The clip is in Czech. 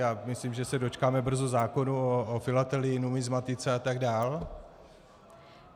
Já myslím, že se dočkáme brzo zákona o filatelii, numismatice a tak dál.